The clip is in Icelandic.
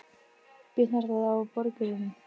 Bitnar það á borgurunum?